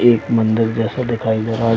एक मंदिर जैसा दिखाई दे रहा है।